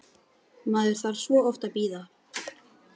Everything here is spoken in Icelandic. Maður þarf svo oft að bíða!